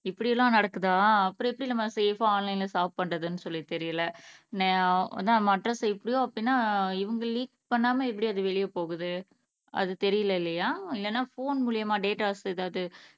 இப்படி எல்லாம் நடக்குதா அப்புறம் எப்பிடி நம்ம சேஃப் ஆ ஆன்லைன்ல ஷாப் பண்றதுனு சொல்லி தெரியல ஆஹ் அதா நம்ம அட்ரஸ் இப்படி தான் அப்பிடினா இவங்க லீக் பண்ணாம அது எப்பிடி வெளிய போகுது அது தெரியல இல்லையா இல்லனா ஃபோன் மூலியமா டேட்டாஸ் எதாவது